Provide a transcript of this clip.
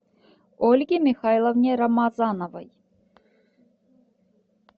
ольге михайловне рамазановой